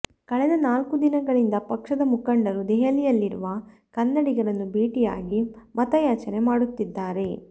ಕಳೆದ ನಾಲ್ಕು ದಿನಗಳಿಂದ ಪಕ್ಷದ ಮುಖಂಡರು ದೆಹಲಿಯಲ್ಲಿರುವ ಕನ್ನಡಿಗರನ್ನು ಭೇಟಿಯಾಗಿ ಮತಯಾಚನೆ ಮಾಡುತ್ತಿದ್ದಾರೆ